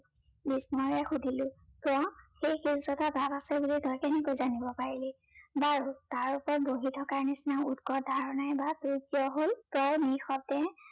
বিস্ময়েৰে সুধিলো, কিয়? সেই শিলচটা তাত আছে বুলি তই কেনেকৈ জানিব পাৰিলি? বাৰু তাৰ ওপৰত বহি থকাৰ নিচিনা উৎকত ধাৰণাই বা তোৰ কিয় হল? তই নি সতে